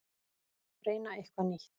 Reyna eitthvað nýtt.